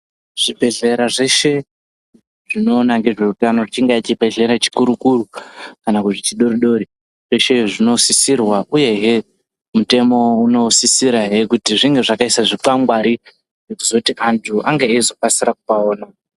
Zvibhedhlera zveshe zvinoona ngezveutano, chingae chibhehlera chikuru-kuru kana kuti chidoodori zveshe zvinosisirwa uyehe mutemo unosisirahe kuti ange akaisa zvikwangwari zvekuzoti antu ange eizokasira kupaona.